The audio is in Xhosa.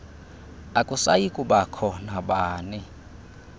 akusayi kubakho nabani